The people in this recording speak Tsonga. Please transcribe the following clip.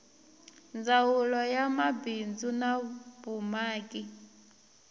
ndzawulo ya mabindzu na vumaki